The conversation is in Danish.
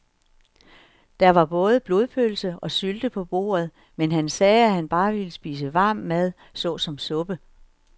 Der var både blodpølse og sylte på bordet, men han sagde, at han bare ville spise varm mad såsom suppe.